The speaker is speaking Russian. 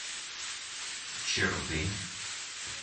чердынь